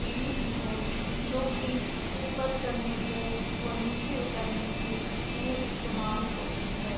सीढ़ी भी है जो की ऊपर चढ़ने को और नीचे उतरने के लिए इस्तेमाल होती है।